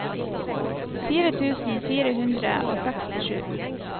fire tusen fire hundre og sekstisju